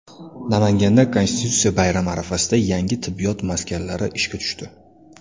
Namanganda Konstitutsiya bayrami arafasida yangi tibbiyot maskanlari ishga tushdi.